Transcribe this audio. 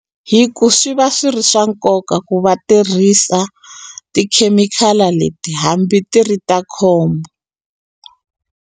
Hi ku swi va swi ri swa nkoka ku va tirhisa tikhemikhala leti hambi ti ri ta khombo.